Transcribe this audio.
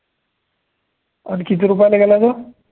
अन किती रुपयाले गेला तो